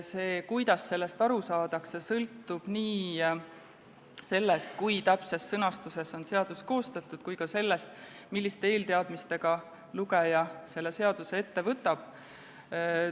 See, kuidas seadusest aru saadakse, sõltub nii sellest, kui täpses sõnastuses on seadus koostatud, kui ka sellest, milliste eelteadmistega lugeja selle seaduse ette võtab.